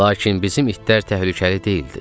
Lakin bizim itlər təhlükəli deyildi.